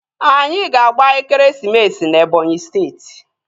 Anyị ga-agba ekeresimesi na Ebọnyi steeti